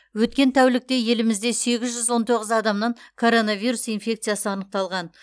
өткен тәулікте елімізде сегіз жүз он тоғыз адамнан коронавирус инфекциясы анықталған